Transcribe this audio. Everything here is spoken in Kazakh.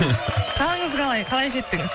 қалыңыз қалай қалай жеттіңіз